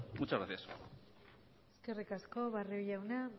muchas gracias eskerrik asko barrio jauna